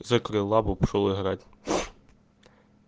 закрыла бы пошёл играть